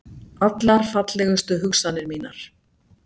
Allar fallegustu hugsanir mínar.